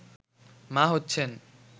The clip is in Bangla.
মা হচ্ছেন